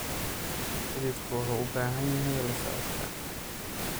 Xididku wuxuu u baahan yahay la socodka.